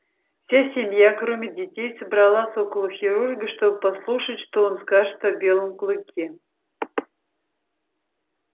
вся семья кроме детей собралась около хирурга чтобы послушать что он скажет о белом клыке